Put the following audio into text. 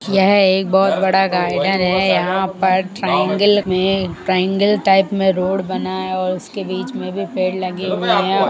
यह एक बहुत बड़ा गार्डन है। यहाँ पर ट्रायंगल में ट्रायंगल टाइप में रोड बना है और उसके बीच में भी पेड़ लगे हुए हैं।